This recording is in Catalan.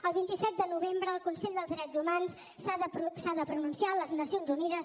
el vint set de novembre el consell dels drets humans s’ha de pronunciar a les nacions unides